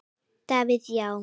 Davíð Já.